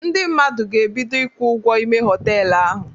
Ndị mmadụ ga-ebido ịkwụ ụgwọ ime họtelu ahụ